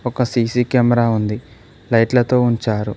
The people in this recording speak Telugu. ఒక సీ_సీ కెమెరా ఉంది లైట్లతో ఉంచారు.